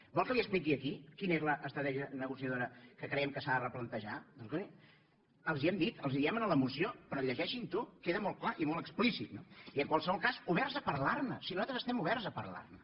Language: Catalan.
vol que li expliqui aquí quina és l’estratègia negociadora que creiem que s’ha de replantejar escolti els ho hem dit els ho diem en la moció però llegeixin ho queda molt clar i molt explícit no i en qualsevol cas oberts a parlar ne si nosaltres estem oberts a parlar ne